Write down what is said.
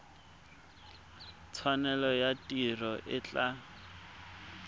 tshwanelo ya tiro e tla